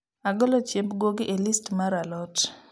golo chiemb guogi e list mar a lot